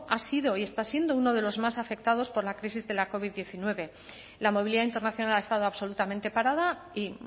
ha sido y está siendo uno de los más afectados por la crisis de la covid hemeretzi la movilidad internacional ha estado absolutamente parada y